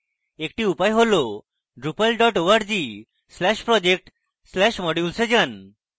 একটি উপায় হল drupal dot org slash project slash modules এ যান